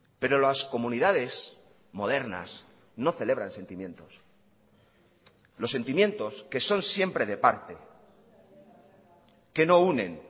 pero las comunidades modernas no celebran sentimientos los sentimientos que son siempre de parte que no unen